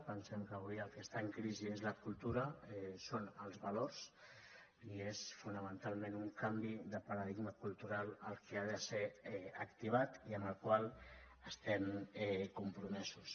pensem que avui el que està en crisi és la cultura són els valors i és fonamentalment un canvi de paradigma cultural el que ha de ser activat i amb el qual estem compromesos